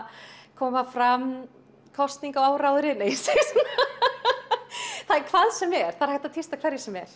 koma fram kosningaáróðri nei ég segi svona það er hvað sem er það er hægt að tísta hverju sem er